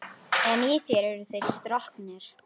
En í þér eru þeir stroknir.